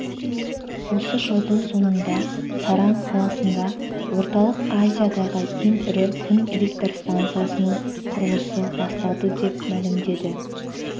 осы жылдың соңында саран қаласында орталық азиядағы ең ірі күн электр станциясының құрылысы басталды деп мәлімдеді